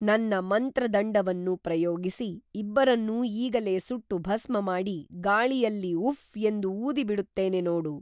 ನನ್ನ ಮಂತ್ರದಂಡವನ್ನು ಪ್ರಯೋಗಿಸಿ ಇಬ್ಬರನ್ನೂ ಈಗಲೇ ಸುಟ್ಟು ಭಸ್ಮಮಾಡಿ ಗಾಳಿಯಲ್ಲಿ ಉಫ್‌ ಎಂದು ಊದಿ ಬಿಡುತ್ತೇನೆ ನೋಡು